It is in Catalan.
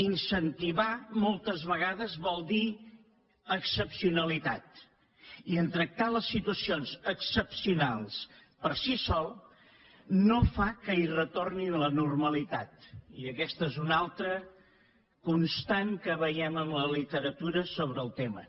incentivar moltes vegades vol dir excepcionalitat i tractar les situacions excepcionals per si sol no fa que hi retorni la normalitat i aquesta és una altra constant que veiem en la literatura sobre el tema